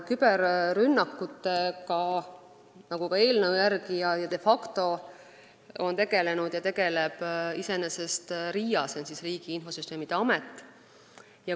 Küberrünnakutega, nii eelnõu järgi kui ka de facto, tegeleb iseenesest RIA, st Riigi Infosüsteemi Amet.